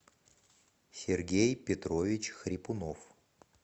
сергей петрович хрипунов